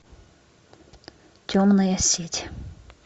темная сеть